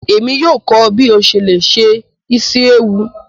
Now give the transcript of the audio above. Emi yóò kọ ọ bi o ṣe le se isi ewu.